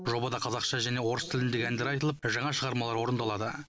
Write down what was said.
жобада қазақша және орыс тіліндегі әндер айтылып жаңа шығармалар орындалады